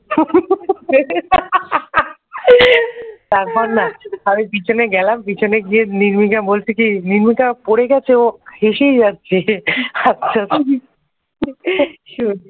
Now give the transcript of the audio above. তারপর না আমি পিছনে গেলাম পিছনে গিয়ে নির্মিকা বলছে কি নির্মিকা পড়ে গেছে তো হেসেই যাচ্ছে